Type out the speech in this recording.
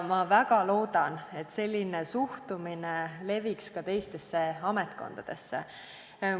Ma väga loodan, et selline suhtumine levib ka teistesse ametkondadesse.